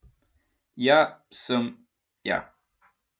Ja, sem, ja.